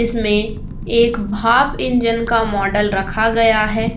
इसमें एक भाप इंजन का मॉडल रखा गया है।